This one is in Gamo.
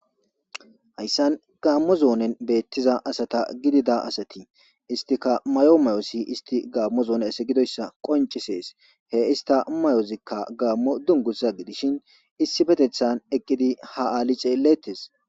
Haysan gamo zonnen bettiza asata giddida asati isitika mayo mayozi gamo zonne asa giddoysa qonsizes he ista mayozika gamo dunguza gidishin issippeththan eqidi ha ali xeelettes.